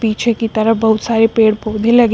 पीछे की तरफ बहुत सारे पेड़ पौधे लगे--